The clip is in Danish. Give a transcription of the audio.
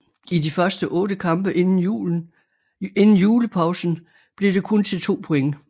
I de første 8 kampe inden julepausen blev det kun til 2 point